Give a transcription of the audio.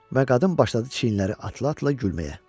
Və qadın başladı çiynləri atlaya-atlaya gülməyə.